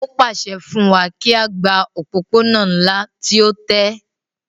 Ó pàṣẹ fún wa kí á gba òpópónà ńlá tí ó tẹ́